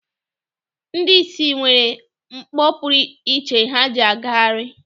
Ndị ìsì nwere mkpọ pụrụ iche ha ji agagharị.